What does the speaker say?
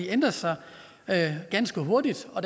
ændrer sig ganske hurtigt og